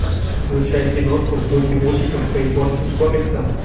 включай киношку в духе мультиков по японским комиксам